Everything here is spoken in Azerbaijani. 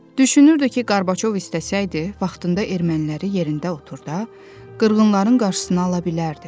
Düşünürdü ki, Qorbaçov istəsəydi, vaxtında erməniləri yerində oturdar, qırğınların qarşısını ala bilərdi.